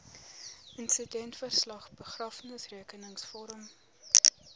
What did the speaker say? insidentverslag begrafnisrekenings vorm